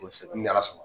Kosɛbɛ n'ala sɔnna